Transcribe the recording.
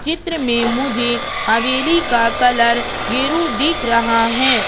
चित्र में मुझे हवेली का कलर गिरु दिख रहा हैं।